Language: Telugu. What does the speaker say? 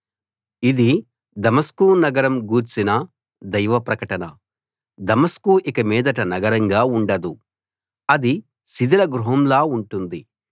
ఇది దమస్కు నగరం గూర్చిన దైవ ప్రకటన దమస్కు ఇక మీదట నగరంగా ఉండదు అది శిథిల గృహంలా ఉంటుంది